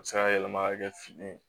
A bɛ se ka yɛlɛma ka kɛ fini ye